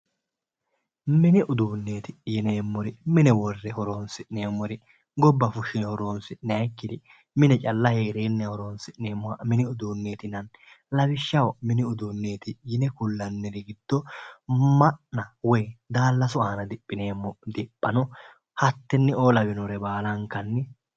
Mini uduuneti yineemmori mine worre horonsi'neemmori gobba fushine horonsi'nakkiri mine calla heerenna horonsi'nanniri mini uduuneti yinanni, lawishshaho mini uduunneti yine kulanniri giddo ma'na woyi daallasu aana diphineemmo diphano hatteneo lawinore baallankanni